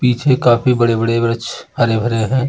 पीछे काफी बड़े-बड़े वृक्ष हरे-भरे हैं।